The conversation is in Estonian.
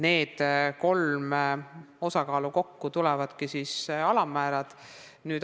Need kolm osa kokku annavadki alammäära.